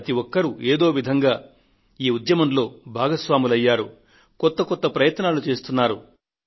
ప్రతి ఒక్కరు ఏదో ఒక విధంగా ఈ ఉద్యమంలో భాగస్వాములయ్యారు కొత్త కొత్త ప్రయత్నాలు చేస్తున్నారు